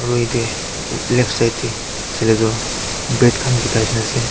Aru ete left side de saile toh bread khan bikai nishena ase.